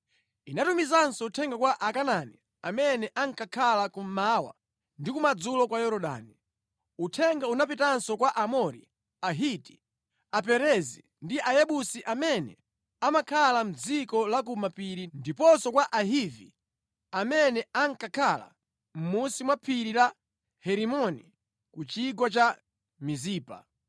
Inatumizanso uthenga kwa Akanaani amene ankakhala kummawa ndi kumadzulo kwa Yorodani. Uthenga unapitanso kwa Aamori, Ahiti, Aperezi ndi Ayebusi amene amakhala mʼdziko la ku mapiri ndiponso kwa Ahivi amene ankakhala mʼmunsi mwa phiri la Herimoni ku chigwa cha Mizipa.